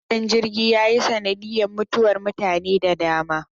Hadarin jirgin ya yi sanadiyar mutuwar mutane da dama.